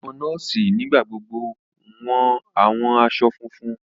Àwọn nọọsi nigbagbogbo wọ awọn aṣọ fúnfún.